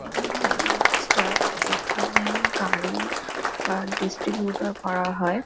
এটা হচ্ছে লুপস্টার এখানে গাড়ি বা ডিস্ট্রিবিউটর করা হয়।